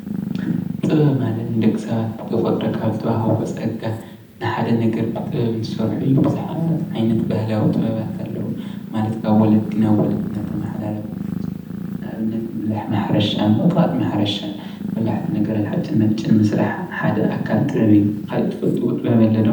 ጥበብ ማለት ንደቂ ሰባት ብተፈጥሮ ካብ ዝተዋሃቦም ፀጋ ንሓደ ነገር ብጥበብ ንኽሰርሑ ቡዙሓት ዓይነት ባህላዊ ጥበባት ኣለው፡፡ ማለት ካብ ወለዲ ናብ ወለዲ እንዳተማሓላለፈ ዝመፁ፡፡ ንኣብነት ምብላሕ ማሕረሻ፣ ምቕጥቃጥ ማሕረሻ በላሕቲ ነገራት ሓፂን መፂን ምስራሕ ሓደ ኣካል ጥበብ እዩ፡፡ ካሊእ እትፈልጥዎ ጥበብ ኣሎ ዶ?